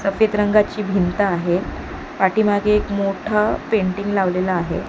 सफेद रंगाची भिंत आहे पाठीमागे एक मोठा पेंटिंग लावलेला आहे.